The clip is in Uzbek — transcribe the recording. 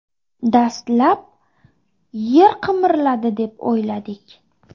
Dastlab yer qimirladi deb o‘yladik.